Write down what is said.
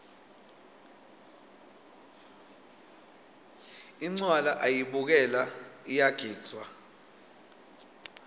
incwala ayibukelwa iyagidvwa